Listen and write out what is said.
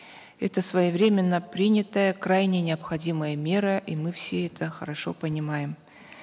это своевременно принятая крайне необходимая мера и мы все это хорошо понимаем